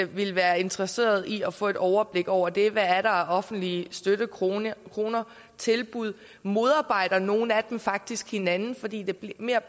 ville være interesseret i at få et overblik over det hvad er der af offentlige støttekroner og tilbud modarbejder nogle af dem faktisk hinanden fordi det mere